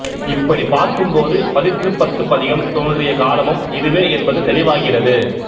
இப்படிப் பார்க்கும்போது பதிற்றுப்பத்துப் பதிகம் தோன்றிய காலமும் இதுவே என்பது தெளிவாகிறது